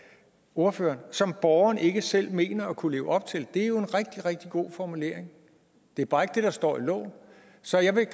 ordføreren som borgerne ikke selv mener at kunne leve op til det er jo en rigtig rigtig god formulering det er bare ikke det der står i loven så jeg vil